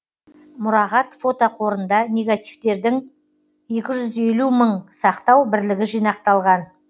мұрағат фотоқорында негативтердің екі жүз елу мың сақтау бірлігі жинақталған